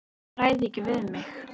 Ég ræð ekki við mig.